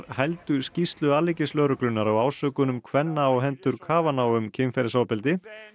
hældu skýrslu alríkislögreglunnar á ásökunum kvenna á hendur um kynferðisofbeldi